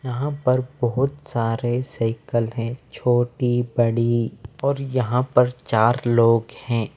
यहाँ पर बहुत सारे साइकिल हैं छोटी बड़ी और यहाँ पर चार लोग हैं।